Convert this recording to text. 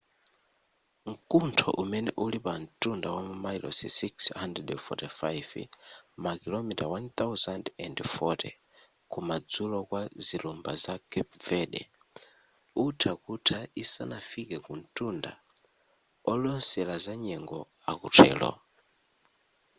mkuntho umene uli pa ntunda wamamayilosi 645 makilomita 1040 ku madzulo kwa zilumba za carpe verde utha kutha isanafike kuntunda olosela za nyengo akutero